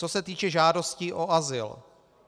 Co se týče žádostí o azyl.